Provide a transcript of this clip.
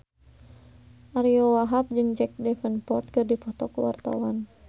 Ariyo Wahab jeung Jack Davenport keur dipoto ku wartawan